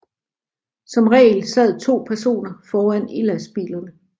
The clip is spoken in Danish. Som regel sad to personer foran i lastbilerne